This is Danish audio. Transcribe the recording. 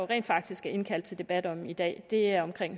rent faktisk er indkaldt til debat om i dag er om